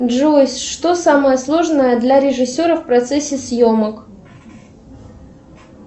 джой что самое сложное для режиссера в процессе съемок